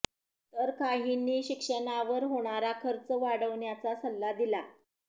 तर काहींनी शिक्षणावर होणारा खर्च वाढवण्याचा सल्ला दिला